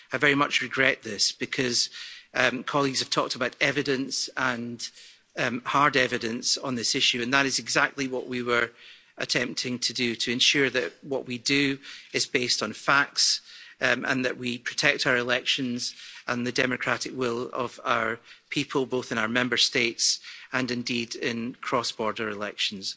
I very much regret this because colleagues have talked about hard evidence on this issue and that is exactly what we were attempting to do, to ensure that what we do is based on facts and that we protect our elections and the democratic will of our people, both in our Member States and indeed in cross border elections.